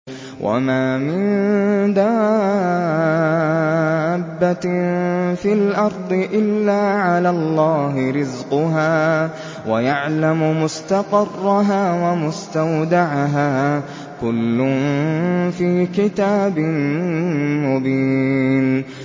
۞ وَمَا مِن دَابَّةٍ فِي الْأَرْضِ إِلَّا عَلَى اللَّهِ رِزْقُهَا وَيَعْلَمُ مُسْتَقَرَّهَا وَمُسْتَوْدَعَهَا ۚ كُلٌّ فِي كِتَابٍ مُّبِينٍ